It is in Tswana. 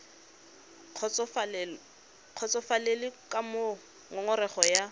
kgotsofalele ka moo ngongorego ya